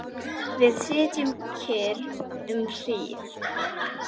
Við sitjum kyrr um hríð.